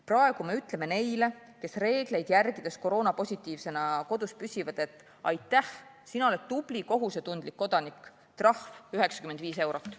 Praegu me ütleme neile, kes reegleid järgides koroonapositiivsena kodus püsivad, et aitäh, sina oled tubli kohusetundlik kodanik, trahv 95 eurot.